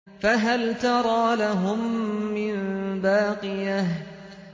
فَهَلْ تَرَىٰ لَهُم مِّن بَاقِيَةٍ